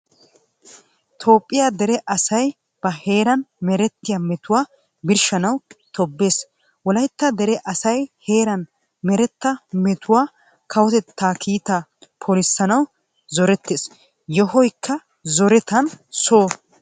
Toophphiya dere asay ba heeran merettiyaa mettuwa birshshanawu tobbees. Wolaytta dere asay heeran meretta mettuwawu, kawotetta kiita polisanawu zorettees. Yohoykka zorettann Soho oyqqees.